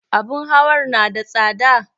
Abun hawar na da tsada?